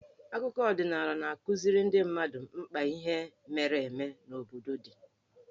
Akụkọ ọdịnaala na-akụziri ndị mmadụ mkpa ihe mere eme n'obodo dị.